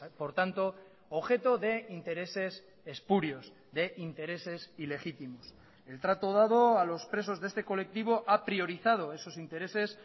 por tanto objeto de intereses espurios de intereses ilegítimos el trato dado a los presos de este colectivo ha priorizado esos intereses